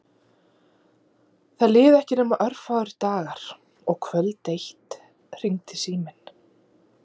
Það liðu ekki nema örfáir dagar og kvöld eitt hringdi síminn.